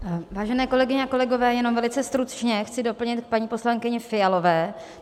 Vážené kolegyně, kolegové, jenom velice stručně chci doplnit k paní poslankyni Fialové.